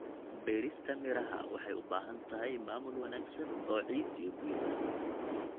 Beerista miraha waxay u baahan tahay maamul wanaagsan oo ciid iyo biyo ah.